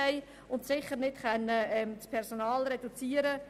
Wir können dort sicher nicht das Personal reduzieren.